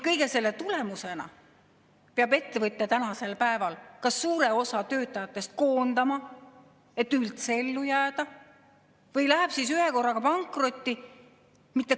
Kõige selle tulemusena peab ettevõtja kas suure osa töötajatest koondama, et üldse ellu jääda, või ta läheb ühekorraga pankrotti.